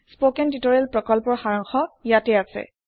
spoken tutorial প্ৰকল্পৰ সাৰাংশ ইয়াতে আছে